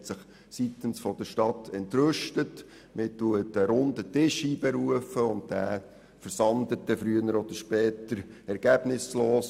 Seitens der Stadt zeigt man sich entrüstet, beruft einen Runden Tisch ein und dann versandet es früher oder später ergebnislos.